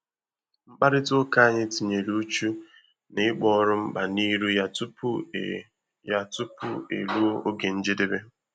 mkpàrịtà ụ́ka ànyị tinyere uchu na ịkpọ òrụ́ mkpa n'ịrụ ya tupu e ya tupu e ruo ògè njedebe.